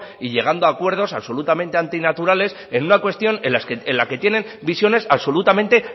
y llegando a acuerdos absolutamente antinaturales en una cuestión en la que tienen visiones absolutamente